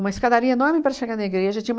Uma escadaria enorme para chegar na igreja. Tinha uma